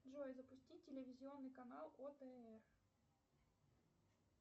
джой запусти телевизионный канал отр